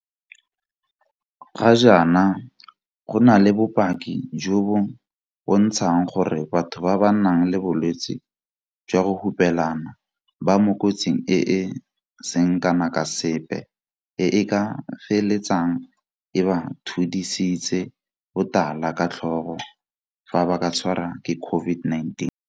Ga jaana, go na le bopaki jo bo bontshang gore batho ba ba nang le bolwetse jwa go hupelana ba mo kotsing e e seng kana ka sepe e e ka feletsang e ba thudisitse botala ka tlhogo fa ba ka tshwarwa ke COVID-19.